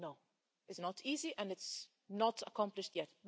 No, it's not easy and it's not accomplished yet.